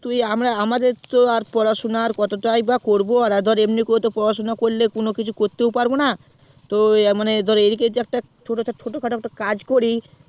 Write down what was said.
তুই আমার আমাদের তো আর পড়াশুনা কতটাই বা করবো আর ধর এমনি করে পড়াশুনা করলে কিছুই তো করতে পারবোনা তো মানে এইদিকে একটা ছোট খাটো একটা কাজ করি